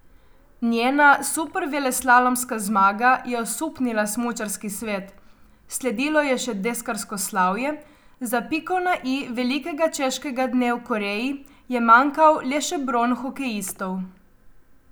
Njena superveleslalomska zmaga je osupnila smučarski svet, sledilo je še deskarsko slavje, za piko na i velikega češkega dne v Koreji je manjkal le še bron hokejistov.